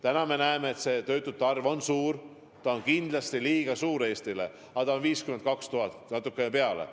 Täna me näeme, et töötute arv on suur, ta on kindlasti liiga suur Eesti jaoks, aga see on 52 000 ja natuke peale.